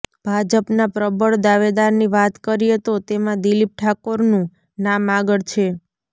ભાજપના પ્રબળ દાવેદારની વાત કરીએ તો તેમાં દિલીપ ઠાકોરનું નામ આગળ છે